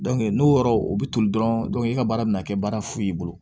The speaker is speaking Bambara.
n'o yɔrɔ o bɛ toli dɔrɔn e ka baara bɛna kɛ baara fu y'i bolo